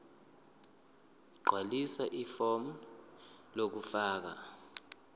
gqwalisa ifomu lokufaka